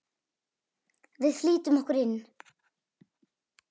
Við flýtum okkur inn.